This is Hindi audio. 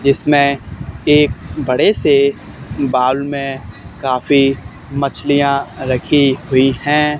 जिसमे एक बड़े से बाउल में काफी मछलियाँ रखी हुई हैं।